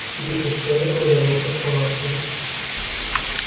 вскипятив чайник он вернулся в палатку